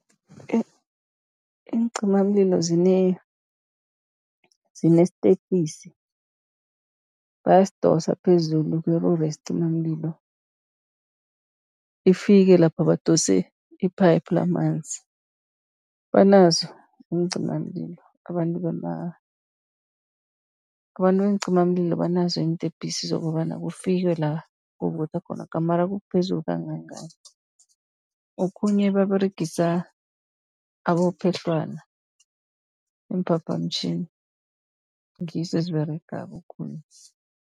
Iincimamlilo zinestepisi bayasidosa phezulu kwelori yesicimamlilo, ifike lapho badose iphayiphu lamanzi. Banazo iincimamlilo abantu abantu beencimamlilo banazo iintepisi, zokobana kufikwe la kuvutha khona gamare kukuphezulu kangangani. Okhunye baberegisa abophehlwana, iimphaphamtjhini ngizo eziberegako khulu.